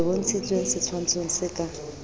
le bontshitshweng setshwantshong se ka